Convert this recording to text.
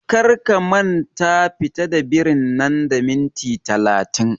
Kar ka manta fita da birin nan da minti talatin!